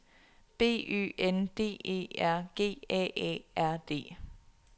B Ø N D E R G A A R D